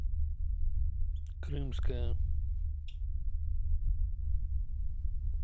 крымское